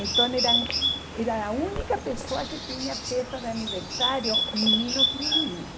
Então eram era a única pessoa que tinha festa de aniversário, meninos e meninas.